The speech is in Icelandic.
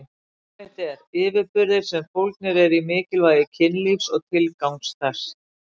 Svar mitt er: yfirburðir sem fólgnir eru í mikilvægi kynlífs og tilgangs þess.